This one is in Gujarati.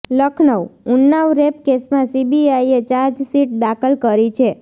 લખનઉઃ ઉન્નાવ રેપ કેસમાં સીબીઆઇએ ચાર્જશીટ દાખલ કરી છે